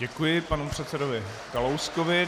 Děkuji panu předsedovi Kalouskovi.